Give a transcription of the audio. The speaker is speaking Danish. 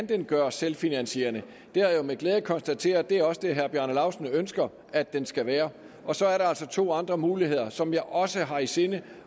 kan gøres selvfinansierende jeg har med glæde konstateret at det også er det herre bjarne laustsen ønsker at den skal være og så er der altså to andre muligheder som jeg også har i sinde